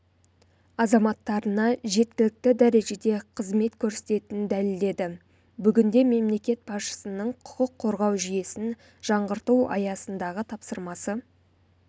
азаматтарына жеткілікті жәрежеде қызмет көрсететінін дәлелдеді бүгінде мемлекет басшысының құқық қорғау жүйесін жаңғырту аясындағы тапсырмасы